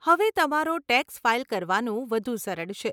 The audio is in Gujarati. હવે તમારો ટેક્સ ફાઈલ કરવાનું વધુ સરળ છે.